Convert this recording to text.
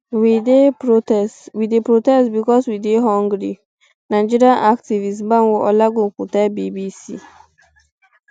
we dey um protest because we dey hungry um nigerian activist banwo olagokun tell bbc